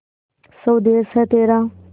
स्वदेस है तेरा